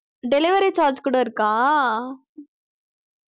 delivery charge கூட இருக்கா